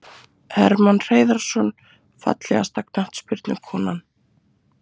Hermann Hreiðarsson Fallegasta knattspyrnukonan?